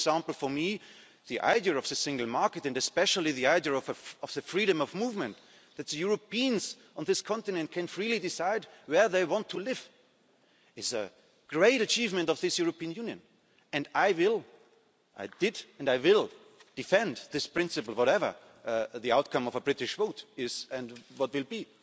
For example for me, the idea of the single market and especially the idea of freedom of movement that Europeans on this continent can freely decide where they want to live is a great achievement of this European Union, and I did and I will defend this principle whatever the outcome of a British vote is and what will be.